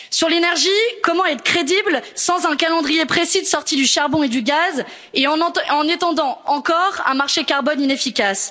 Sur l'énergie, comment être crédible sans un calendrier précis de sortie du charbon et du gaz et en étendant encore un marché carbone inefficace?